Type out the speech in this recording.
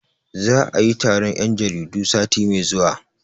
Za'a yi taron 'yan jaridu sati mai zuwa.